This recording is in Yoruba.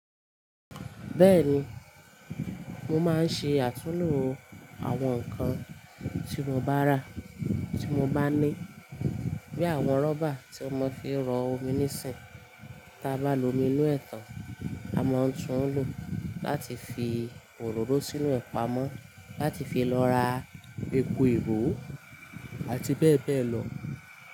Bẹ́ẹ̀ni, mo máa ń ṣe àtúlo àwọn nǹkan tí mo bá rà, tí mo bá ní. Bí àwọn rọ́bà tí won mo fi ń ro omi níìsín, tí a bá lo mi inú ẹ̀tàn, a máa tún ń lò ó láti fi òróró sínu ẹ̀ pá mọ́, láti fi lọ ra epo ìró àti bẹ́ẹ̀ bẹ́ẹ̀ lọ.